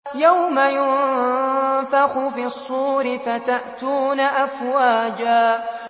يَوْمَ يُنفَخُ فِي الصُّورِ فَتَأْتُونَ أَفْوَاجًا